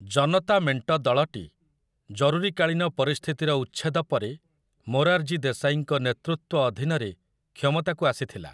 ଜନତା ମେଣ୍ଟ ଦଳଟି, ଜରୁରୀକାଳୀନ ପରିସ୍ଥିତିର ଉଚ୍ଛେଦ ପରେ, ମୋରାର୍‌ଜୀ ଦେଶାଈଙ୍କ ନେତୃତ୍ୱ ଅଧୀନରେ କ୍ଷମତାକୁ ଆସିଥିଲା ।